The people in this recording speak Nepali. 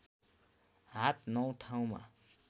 हात नौ ठाउँमा